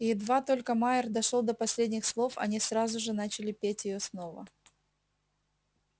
едва только майер дошёл до последних слов они сразу же начали петь её снова